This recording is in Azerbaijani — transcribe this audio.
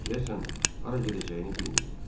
Deyəsən, hara gedəcəyini bilmirdi.